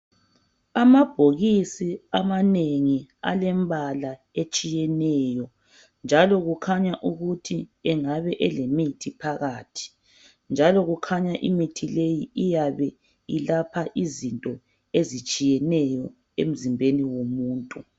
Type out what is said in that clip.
Amabhokisi amanengi alembala etshiyeneyo, njalo kukhanya ukuthi engaba elemithi phakathi, njalo kukhanya imithi leyi ilapha izinto ezitshiyeneyo emzimbeni womuntu.